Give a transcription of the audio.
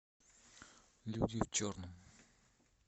люди в черном